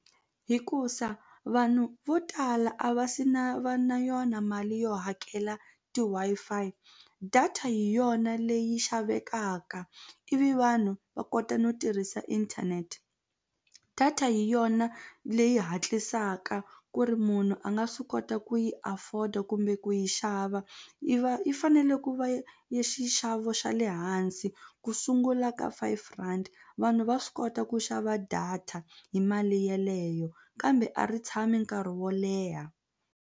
Hikusa vanhu vo tala a va se na va na yona mali yo hakela ti-Wi-Fi data hi yona leyi xavekaka ivi vanhu va kota no tirhisa inthanete data hi yona leyi hatlisaka ku ri munhu a nga swi kota ku yi afford-a kumbe ku yi xava yi va yi fanele ku va yi xixavo xa le hansi ku sungula ka five rand vanhu va swi kota ku xava data hi mali yeleyo kambe a ri tshami nkarhi wo leha.